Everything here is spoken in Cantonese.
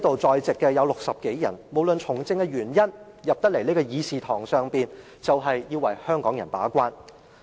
在席60多位議員無論基於甚麼原因從政，只要踏進這個會議廳，便要為香港人把關。